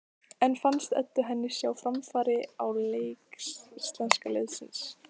En fannst Eddu henni sjá framfarir á leik íslenska liðsins?